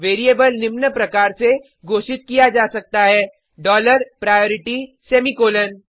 variable निम्न प्रकार से घोषित किया जा सकता है डॉलर प्रायोरिटी सेमीकॉलन